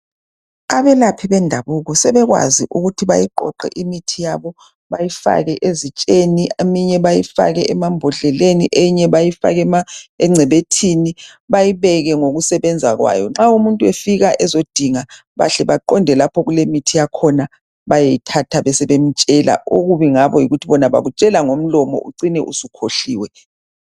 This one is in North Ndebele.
Abelaphi bendabuko sebekwazi ukuthi bayiqoqe imithi yabo bayifake ezitsheni, eminye beyifake emambodleleni, eyinye bayifake engcebethwini bayibeke ngokusebenza kwayo. Nxa umuntu efika ezodinga bahle baqonde lapho okulemithi yakhona bayeyithatha besebemtshela. Okubi ngabo yikuthi bona bakutshela ngomlomo ucine usukhohliwe.